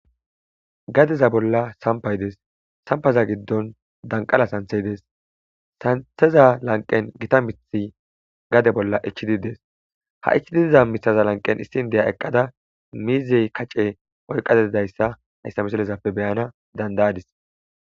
gadeza bolla sampay dees sampaza giddon danqala santhey dees santeza lanqen gita mithi gade bolla ichididees ha ichididza misaza lanqen issin deya eqqada miizey kacce oyqadeidayssa hayssa misilezappe beyana dandayadis